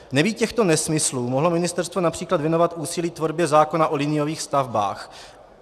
Nebýt těchto nesmyslů, mohlo ministerstvo například věnovat úsilí tvorbě zákona o liniových stavbách.